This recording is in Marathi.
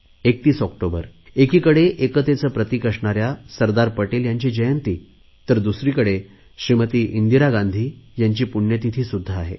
31 ऑक्टोबर एकीकडे एकतेचे प्रतिक असणाऱ्या सरदार पटेल यांची जयंती आहे तर दुसरीकडे श्रीमती गांधी यांची पुण्यतिथी सुध्दा आहे